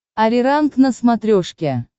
ариранг на смотрешке